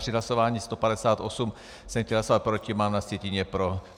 Při hlasování 158 jsem chtěl hlasovat proti, nám na sjetině pro.